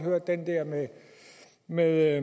det med